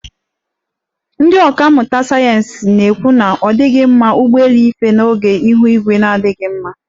Ndi ọka mmụta sayeensị na-ekwu na ọ dighị mma ụgbọelu ife oge ihu igwe na-adighị mma.